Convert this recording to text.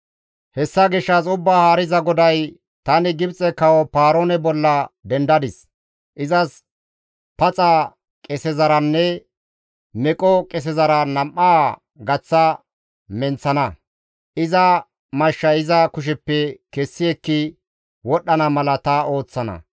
Hessa gishshas Ubbaa Haariza GODAY, ‹Tani Gibxe kawo Paaroone bolla dendadis; izas paxa qesezaranne meqo qesezara nam7aa gaththa menththana; iza mashshay iza kusheppe kessi ekki wodhdhana mala ta ooththana.